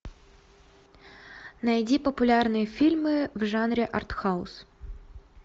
найди популярные фильмы в жанре артхаус